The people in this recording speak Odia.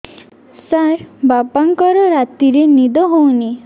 ସାର ବାପାଙ୍କର ରାତିରେ ନିଦ ହଉନି